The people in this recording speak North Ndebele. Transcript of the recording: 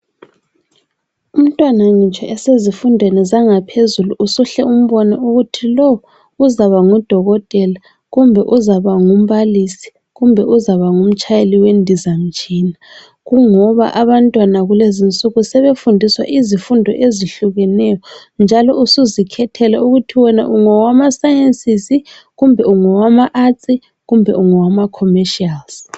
Umntwana ngitsho esezifundweni zangaphezulu usuhle umbone ukuthi lo uzaba ngudokotela kumbe uzaba ngumbalisi, kumbe uzaba ngumtshayeli wendizamtshina, kungoba abantwana kulezinsuku sebefundiswa izifundo ezihlukeneyo njalo usuzikhethela ukuthi wena ongawama sciences, kumbe ungowama arts, kumbe ongawama commercials.